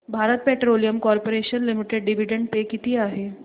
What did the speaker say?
Bharat petroleum corporation limited dividend pay किती आहे